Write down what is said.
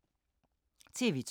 TV 2